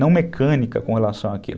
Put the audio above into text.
não mecânica com relação àquilo.